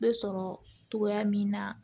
Bɛ sɔrɔ togoya min na